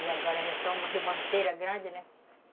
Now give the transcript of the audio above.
E agora é só uma ribanceira grande, né?